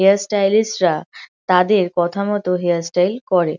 Hair stylist রা তাদের কথা মতো হেয়ার স্টাইল করে।